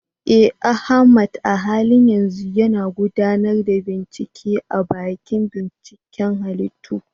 Eh, Ahmad a halin yanzu yana gudanar da bincike a dakin binciken halittu.